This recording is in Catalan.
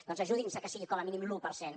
doncs ajudi’ns que sigui com a mínim l’un per cent